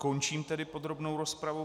Končím tedy podrobnou rozpravu.